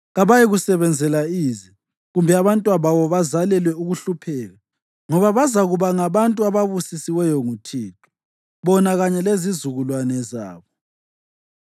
Kabayikusebenzela ize, kumbe abantwababo bazalelwe ukuhlupheka, ngoba bazakuba ngabantu ababusisiweyo nguThixo, bona kanye lezizukulwane zabo.